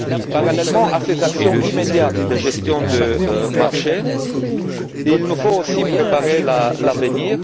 Parallèlement à ces actions immédiates de gestion de marché, il nous faut aussi préparer l'avenir.